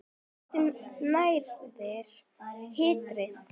Óttinn nærir hatrið.